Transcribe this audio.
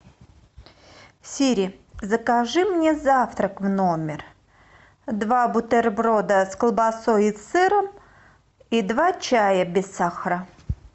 сири закажи мне завтрак в номер два бутерброда с колбасой и сыром и два чая без сахара